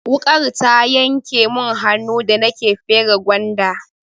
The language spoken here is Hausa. Wuƙar ta yanke mun hannu da nake fere gwanda.